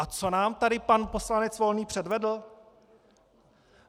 - A co nám tady pan poslanec Volný předvedl?